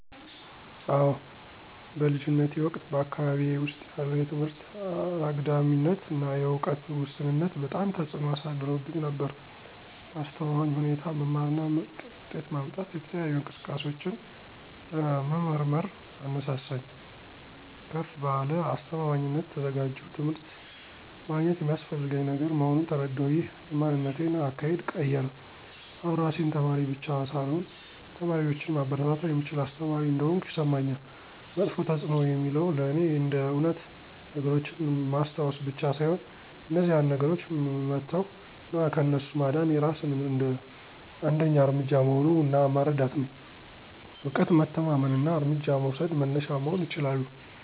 አዎ በልጅነቴ ወቅት በአካባቢዬ ውስጥ ያለው የትምህርት አግዳሚነት እና የዕውቀት ውስንነት በጣም ተጽእኖ አሳድሮብኝ ነበር። በአስተማማኝ ሁኔታ መማር እና ምርጥ ውጤት ማምጣት የተለያዩ እንቅስቃሴዎችን ለመመርመርር አነሳሳኝ። ከፍ ባለ አስተማማኝነት ተዘጋጀሁ ትምህርት ማግኘት የሚስፈልገኝ ነገር መሆኑን ተረዳሁ። ይህ የማንነቴን አካሄድ ቀየረ አሁን ራሴን ተማሪ ብቻ ሳልሆን ተማሪዎችን ማበረታታት የምችል አስተማሪ እንደሆንኩ ይሰማኛል። መጥፎ ተፅዕኖ የሚለው ለእኔ እንደ እውነት ነገሮችን ማስታወስ ብቻ ሳይሆን እነዚያን ነገሮች መተው እና ከእነሱ ማዳን የራስን አንደኛ እርምጃ መሆኑ እና መረዳት ነው። እውቀት መተማመን እና እርምጃ መውሰድ መነሻ መሆን ይችላሉ።